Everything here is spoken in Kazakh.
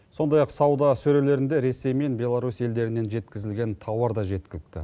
сондай ақ сауда сөрелерінде ресей мен беларусь елдерінен жеткізілген тауар да жеткілікті